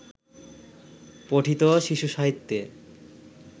পঠিত শিশুসাহিত্যে